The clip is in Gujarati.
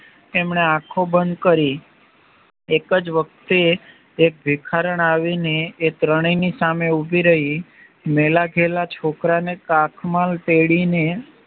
એમણે આખો બંધ કરી એક જ વખતે એ ભિખારણ આવીને એક ત્રણેય ની સામે ઉભી રહી મેલાઘેલા છોકરાને કાખમાં તેડીને